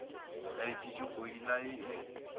ya letšatšikgwedi la ye e